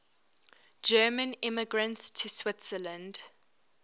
german immigrants to switzerland